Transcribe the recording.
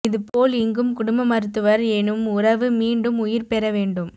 இதுபோல் இங்கும் குடும்ப மருத்துவர் எனும் உறவு மீண்டும் உயிர் பெற வேண்டும்